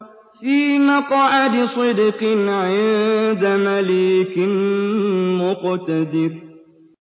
فِي مَقْعَدِ صِدْقٍ عِندَ مَلِيكٍ مُّقْتَدِرٍ